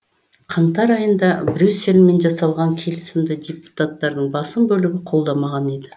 қаңтар айында брюссельмен жасалған келісімді депутаттардың басым бөлігі қолдамаған еді